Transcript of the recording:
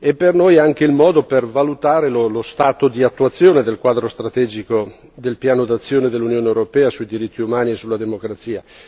Per noi è anche il modo per valutare lo stato di attuazione del quadro strategico del piano d'azione dell'Unione europea sui diritti umani e sulla democrazia.